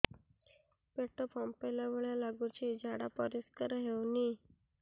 ପେଟ ଫମ୍ପେଇଲା ଭଳି ଲାଗୁଛି ଝାଡା ପରିସ୍କାର ହେଉନି